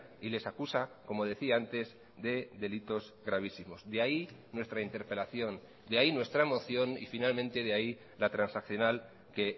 y les acusa como decía antes de delitos gravísimos de ahí nuestra interpelación de ahí nuestra moción y finalmente de ahí la transaccional que